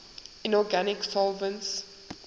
inorganic solvents